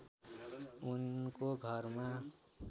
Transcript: उनको घरमा